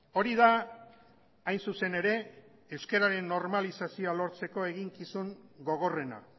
hori da hain zuzen ere euskararen normalizazioa lortzeko eginkizun gogorrena